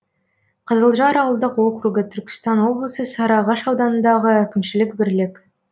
қызылжар ауылдық округі түркістан облысы сарыағаш ауданындағы әкімшілік бірлік